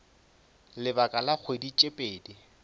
lebaka la kgwedi tše pedi